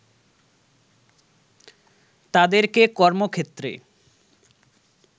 তাদেরকে কর্মক্ষেত্রে